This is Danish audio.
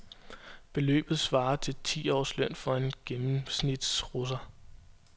Beløbet svarer til ti års løn for en gennemsnitsrusser.